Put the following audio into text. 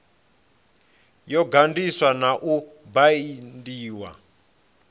yo ganḓiswa na u baindiwa